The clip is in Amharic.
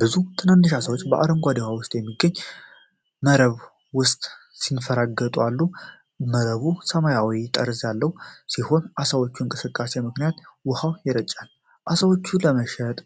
ብዙ ትናንሽ ዓሦች በአረንጓዴ ውሃ ውስጥ ከሚገኝ መረብ ውስጥ ሲንፈራገጡ አሉ። መረቡ ሰማያዊ ጠርዝ ያለው ሲሆን፣ በዓሳዎቹ እንቅስቃሴ ምክንያት ውሃው ይረጫል። ዓሦቹ ለመሸጥ